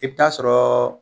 I bi taa'a sɔrɔ ...